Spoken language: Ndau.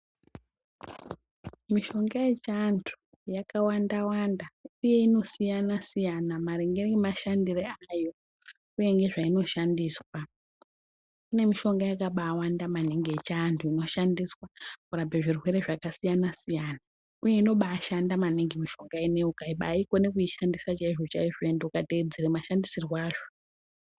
Mishonga yechiantu yakawanda wanda uye inosiyana siyana maringe ngemashandire ayo uye ngezvainoshandiswa. Kune mishonga yakabawanda maningi yechiantu inoshandiswa kurape zvirwere zvakasiyana siyana uye inobashanda maningi mishonga ineyi ukabaikone kuishandise chaizvo chaizvo ende ukateedzera mashandisirwe azvo.